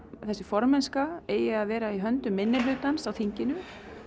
þessi formennska eigi að vera í höndum minnihlutans á þinginu